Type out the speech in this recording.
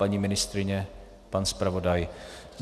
Paní ministryně, pan zpravodaj?